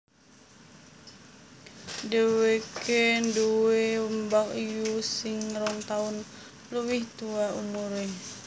Dhèwèké nduwé mbakyu sing rong taun luwih tuwa umuré